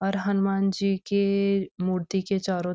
औऱ हनुमान जी के मूर्ति के चारों --